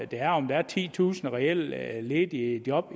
der er om der er titusind reelle ledige job